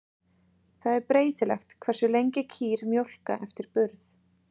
Það er breytilegt hversu lengi kýr mjólka eftir burð.